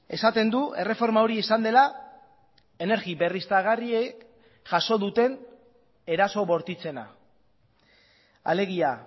esaten du erreforma hori izan dela energia berriztagarriek jaso duten eraso bortitzena alegia